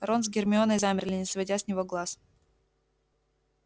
рон с гермионой замерли не сводя с него глаз